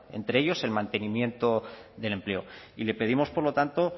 entre ellos el mantenimiento del empleo y le pedimos por lo tanto